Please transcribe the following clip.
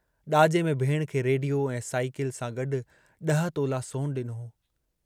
ॾाजे में भेणु खे रेडियो ऐं साईकिल सां गॾु ॾह तोला सोनु ॾिनो।